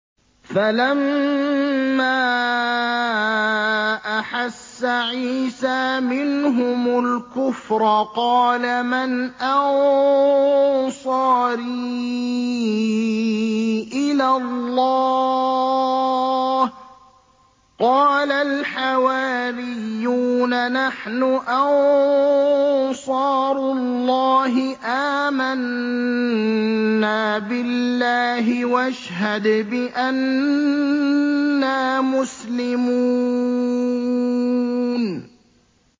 ۞ فَلَمَّا أَحَسَّ عِيسَىٰ مِنْهُمُ الْكُفْرَ قَالَ مَنْ أَنصَارِي إِلَى اللَّهِ ۖ قَالَ الْحَوَارِيُّونَ نَحْنُ أَنصَارُ اللَّهِ آمَنَّا بِاللَّهِ وَاشْهَدْ بِأَنَّا مُسْلِمُونَ